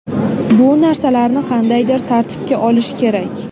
Bu narsalarni qandaydir tartibga olish kerak.